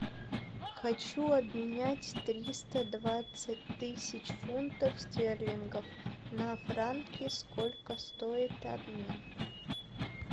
хочу обменять триста двадцать тысяч фунтов стерлингов на франки сколько стоит обмен